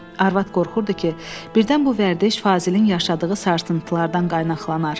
Arvad qorxurdu ki, birdən bu vərdiş Fazilin yaşadığı sarsıntılardan qaynaqlanar.